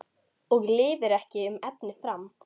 Og lifir ekki um efni fram?